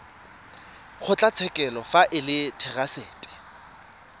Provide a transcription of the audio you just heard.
kgotlatshekelo fa e le therasete